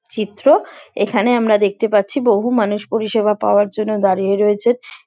চিত্র এখানে আমরা দেখতে পাচ্ছি বহু মানুষ পরিষেবা পাওয়ার জন্য দাঁড়িয়ে রয়েছেন ।